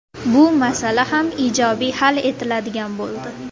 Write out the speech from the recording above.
Bu masala ham ijobiy hal etiladigan bo‘ldi.